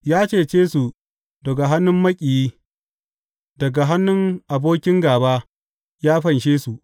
Ya cece su daga hannun maƙiyi; daga hannun abokin gāba ya fanshe su.